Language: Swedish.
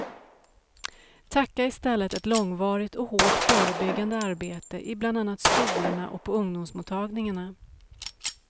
Tacka i stället ett långvarigt och hårt förebyggande arbete i bland annat skolorna och på ungdomsmottagningarna.